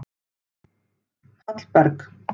Hallberg